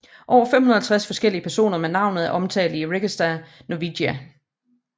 Over 550 forskellige personer med navnet er omtalt i Regesta Norvegica